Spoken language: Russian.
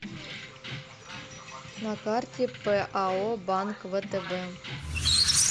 на карте пао банк втб